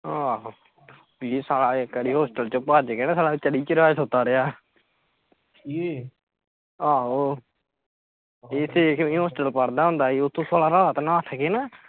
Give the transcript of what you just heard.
ਆਹੋ ਇਕ ਵਾਰੀ ਸਾਲਾhostel ਚ ਭੱਜ ਕੇ ਤੇ ਸਾਲਾ ਚਰੀ ਚ ਰਾਤ ਸੁੱਤਾ ਰਹਿਆ ਆਹੋ ਇਹ ਇਕ ਵਾਰੀ hostel ਪੜ੍ਹਦਾ ਹੁੰਦਾ ਹੀ ਓਥੋਂ ਸਾਲਾ ਰਾਤ ਨੱਠ ਕੇ ਨਾ